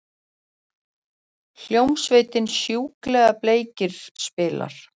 Hljómsveitin Sjúklega bleikir spilar.